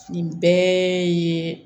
Nin bɛɛ ye